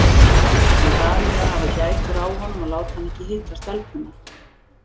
Hann bað mig að hafa gætur á honum og láta hann ekki hitta stelpuna.